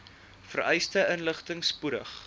vereiste inligting spoedig